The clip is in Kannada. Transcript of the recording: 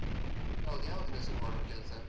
ಹೌದು ಯಾವಾಗಿಂದ ಸುರು ಮಾಡುವ ಕೆಲಸ?